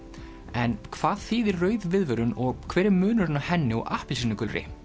en hvað þýðir rauð viðvörun og hver er munurinn á henni og appelsínugulri